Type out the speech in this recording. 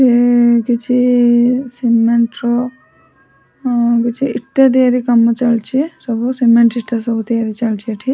ହମ କିଛି ସିମେଣ୍ଟ ର କିଛି ଇଟା ତିଆରି କାମ ଚାଲିଚି ସବୁ ସିମେଣ୍ଟ ଇଟା ସବୁ ତିଆରି ଚାଲିଛି ଏଠି।